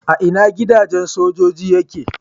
A ina gidajen sojoji yake?